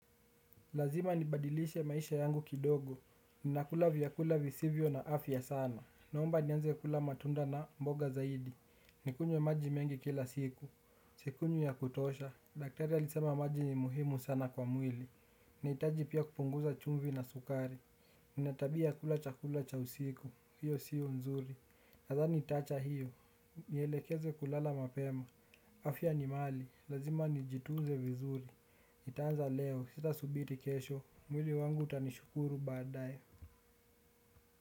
Lazima nibadilishe maisha yangu kidogo, ni nakula vyakula visivyo na afya sana. Naomba nianze kula matunda na mboga zaidi, nikunywe maji mengi kila siku. Sikunywi ya kutosha, daktari alisema maji ni muhimu sana kwa mwili, nahitaji pia kupunguza chumvi na sukari. Nina tabia ya kula chakula cha usiku, hiyo siyo nzuri nadhani nitaacha hiyo, nielekeze kulala mapema. Afya ni mali, lazima nijitunze vizuri. Nitaanza leo, sitasubiri kesho, mwili wangu utanishukuru badae.